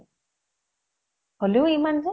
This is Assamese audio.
হʼলেও ইমান যে ?